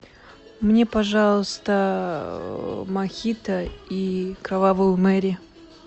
мне пожалуйста мохито и кровавую мэри